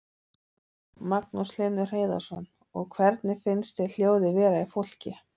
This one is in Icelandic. Magnús Hlynur Hreiðarsson: Og hvernig finnst þér hljóðið vera í fólki?